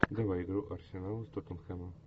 давай игру арсенал с тоттенхэмом